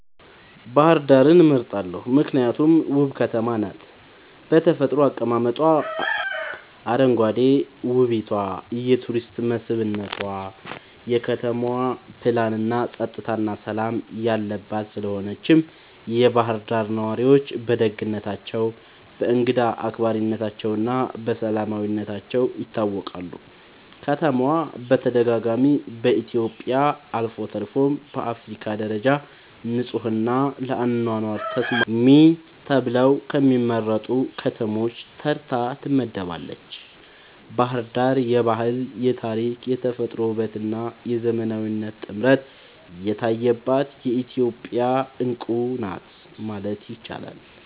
ባህር ዳርን እመርጣለሁ ምክንያቱም ውብ ከተማ ናት በተፈጥሮ አቀማመጧ, አረንጓዴ ዉበቷ የቱሪስት መስብነቷ, የከተማዋ ፕላንናፀጥታና ሠላም የለባት ስለሆነችም የባህር ዳር ነዋሪዎች በደግነታቸው፣ በእንግዳ አክባሪነታቸውና በሰላማዊነታቸው ይታወቃሉ። ከተማዋ በተደጋጋሚ በኢትዮጵያ አልፎ ተርፎም በአፍሪካ ደረጃ ንጹሕና ለአኗኗር ተስማሚ ተብለው ከሚመረጡ ከተሞች ተርታ ትመደባለች። ባሕር ዳር የባህል፣ የታሪክ፣ የተፈጥሮ ውበትና የዘመናዊነት ጥምረት የታየባት የኢትዮጵያ ዕንቁ ናት ማለት ይቻላል።